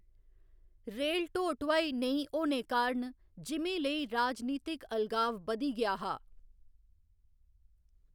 Rail ढो ढुआई नेईँ होने कारण जिमीं लेई राजनितिक अलगाव बधी गेआ हा।